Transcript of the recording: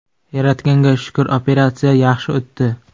Yaratganga shukr, operatsiya yaxshi o‘tdi.